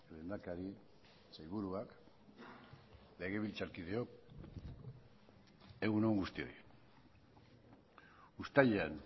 lehendakari sailburuak legebiltzarkideok egun on guztioi uztailean